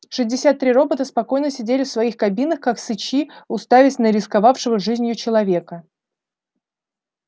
шестьдесят три робота спокойно сидели в своих кабинах как сычи уставясь на рисковавшего жизнью человека